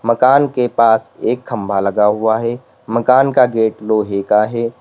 मकान के पास एक खंभा लगा हुआ है मकान का गेट लोहे का है।